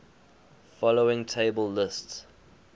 following table lists